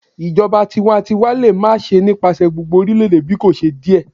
Ijọba tiwantiwa le ma ṣe nipasẹ gbogbo orilẹ-ede bikoṣe diẹ